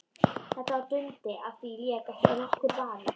Þetta var Dundi, á því lék ekki nokkur vafi.